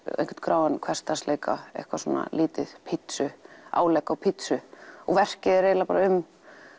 einhvern gráan hversdagsleika eitthvað svona lítið pizzu álegg á pizzu og verkið er eiginlega bara um